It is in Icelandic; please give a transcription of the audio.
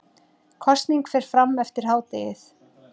Kosning fer fram eftir hádegið